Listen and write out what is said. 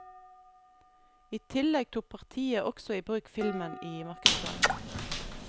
I tillegg tok partiet også i bruk filmen i markedsføringen.